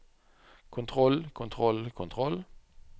kontroll kontroll kontroll